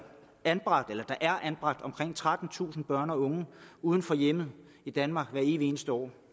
anbragt omkring trettentusind børn og unge uden for hjemmet i danmark hvert evige eneste år